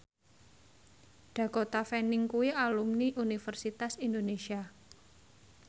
Dakota Fanning kuwi alumni Universitas Indonesia